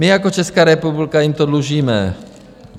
My jako Česká republika jim to dlužíme.